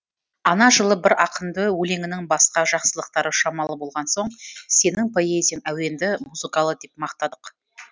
ана жылы бір ақынды өлеңінің басқа жақсылықтары шамалы болған соң сенің поэзияң әуенді музыкалы деп мақтадық